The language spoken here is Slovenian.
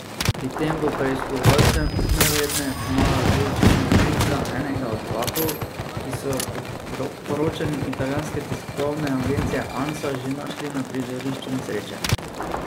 Pri tem bo preiskovalcem najverjetneje pomagala tudi črna skrinjica enega od vlakov, ki so jo po poročanju italijanske tiskovne agencije Ansa že našli na prizorišču nesreče.